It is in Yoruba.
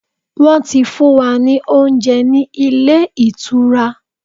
Wọ́n ti fún wa ní oúnjẹ ní ilé ìtura.